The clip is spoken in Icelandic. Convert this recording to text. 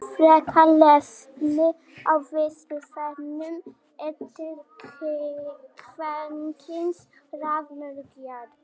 Frekara lesefni á Vísindavefnum: Eru til kvenkyns raðmorðingjar?